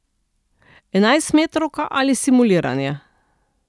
Enajstmetrovka ali simuliranje?